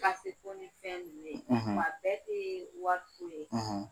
Kase fɔ ni fɛn nunnu ye. wa a bɛɛ tee wɔri fu ye.